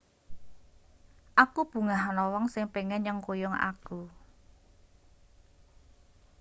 aku bungah ana wong sing pengin nyengkuyung aku